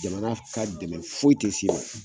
Jamana ka dɛmɛ foyi te s'i ma